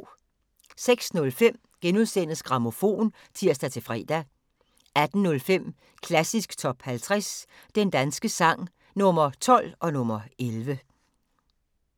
06:05: Grammofon *(tir-fre) 18:05: Klassisk Top 50 Den danske sang – Nr. 12 og nr. 11